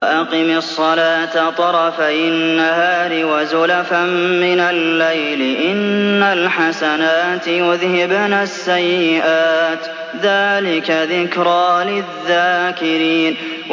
وَأَقِمِ الصَّلَاةَ طَرَفَيِ النَّهَارِ وَزُلَفًا مِّنَ اللَّيْلِ ۚ إِنَّ الْحَسَنَاتِ يُذْهِبْنَ السَّيِّئَاتِ ۚ ذَٰلِكَ ذِكْرَىٰ لِلذَّاكِرِينَ